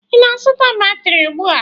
Ị na-azụta batrị ugbu a?